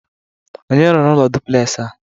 Onye rụrụ ụlọ dụpụlexị a?